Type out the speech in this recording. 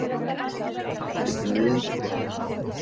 Handtekinn við innbrot